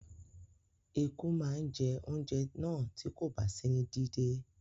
Eku má je ounjẹ náà ti kòba sí ní dídé